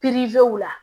pirizew la